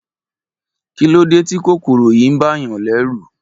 Kí ló dé tí kòkòrò yìí bàa yàn lẹ́rù.